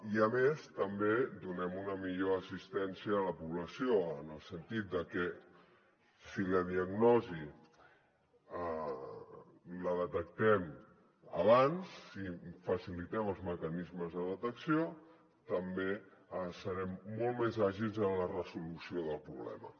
i a més també donem una millor assistència a la població en el sentit de que si la diagnosi la detectem abans i facilitem els mecanismes de detecció també serem molt més àgils en la resolució del problema